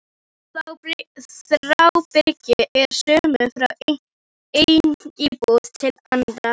Þráhyggja er söm frá einni íbúð til annarrar.